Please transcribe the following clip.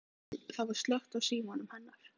Það var slökkt á símanum hennar.